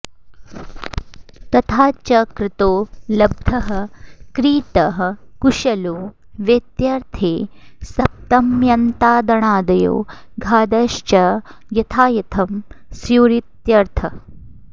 तथा च कृतो लब्धः क्रीतः कुशलो वेत्यर्थे सप्तम्यन्तादणादयो घादयश्च यथायथं स्युरित्यर्थः